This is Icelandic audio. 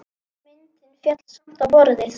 Myndin féll samt á borðið.